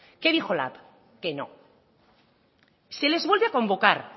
qué dijo lab que no se les vuelve a convocar